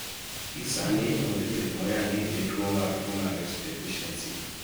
gi sani onge thieth moyangi ne tuo ma fumarace deficiency